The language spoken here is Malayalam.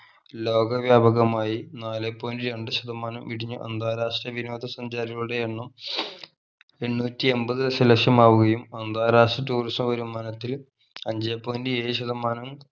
ലോക വ്യാപകമായി നാലേ point രണ്ട് ശതമാനം ഇടിഞ്ഞ് അന്താരാഷ്ട്ര വിനോദ സഞ്ചാരികളുടെ എണ്ണം എണ്ണൂറ്റി എൺപത് ദശ ലക്ഷം ആവുകയും അന്താരാഷ്ട്ര tourism വരുമാനത്തിൽ അഞ്ചേ point ഏഴു ശതമാനം